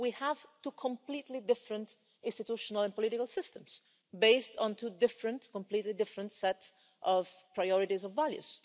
We have two completely different institutional and political systems, based on two completely different sets of priorities and values.